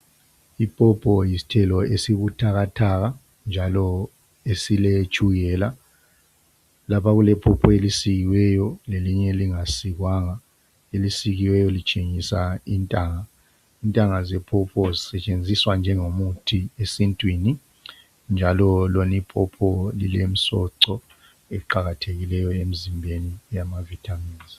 ipopo yisithelo esibuthakathaka njalo esile tshukela lapha kulepopo elisikiweyo lelinye elinga sikwanga elisikiweyo litshengisa intanga intanga zepopo zisetshenziswa njengomuthi esintwini njalo lona ipopo lilomsoco oqakathekileyo emzimbeni yamathambo